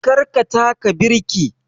Kar ka taka birki!